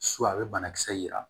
a bɛ banakisɛ yira